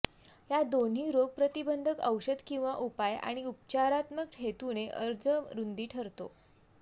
या दोन्ही रोगप्रतिबंधक औषध किंवा उपाय आणि उपचारात्मक हेतूने अर्ज रुंदी ठरतो